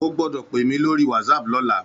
Ó gbòdò pé mi lóri wàtsáp lòlá